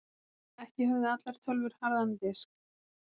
Ekki höfðu allar tölvur harðan disk.